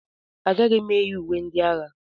Agaghị m eyi uwe ndị agha.